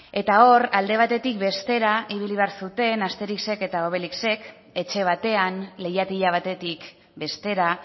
eta hor alde batetik bestera ibili behar zuten asterixek eta obelixek etxe batean leihatila batetik bestera